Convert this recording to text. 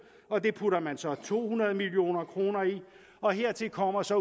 og det putter man så to hundrede million kroner i og hertil kommer så